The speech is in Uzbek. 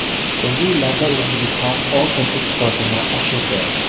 So‘nggi yillarda O‘zbekiston oltin eksportini oshirdi.